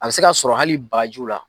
A bɛ se ka sɔrɔ hali bagajiw la.